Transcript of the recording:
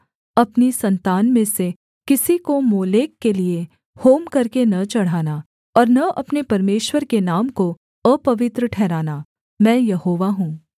अपनी सन्तान में से किसी को मोलेक के लिये होम करके न चढ़ाना और न अपने परमेश्वर के नाम को अपवित्र ठहराना मैं यहोवा हूँ